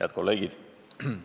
Head kolleegid!